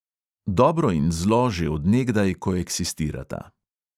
Dobro in zlo že od nekdaj koeksistirata.